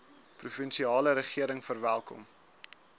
provinsiale regering verwelkom